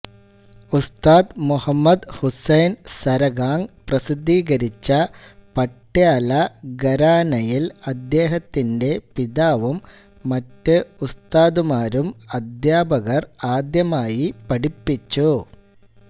ഉസ്താദ് മുഹമ്മദ് ഹുസൈൻ സരഹാംഗ് പ്രസിദ്ധീകരിച്ച പട്യാല ഘരാനയിൽ അദ്ദേഹത്തിന്റെ പിതാവും മറ്റ് ഉസ്താദുമാരും അദ്ധ്യാപകർ ആദ്യമായി പഠിപ്പിച്ചു